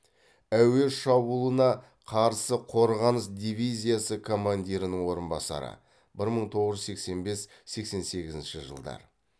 әуе шабуылына қарсы қорғаныс дивизиясы командирінің орынбасары бір мың тоғыз жүз сексен бес сексен сегізінші жылдар